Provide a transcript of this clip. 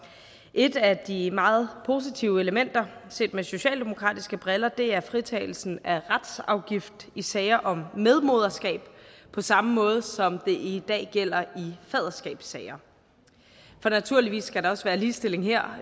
et af de meget positive elementer set med socialdemokratiske briller er fritagelsen af retsafgift i sager om medmoderskab på samme måde som det i dag gælder i faderskabssager for naturligvis skal der også være ligestilling her